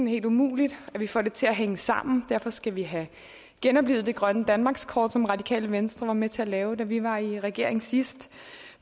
helt umuligt at vi får det til at hænge sammen derfor skal vi have genoplivet det grønne danmarkskort som radikale venstre var med til at lave da vi var i regering sidst